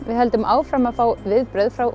við höldum áfram að fá viðbrögð frá